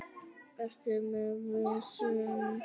Ertu með vesen?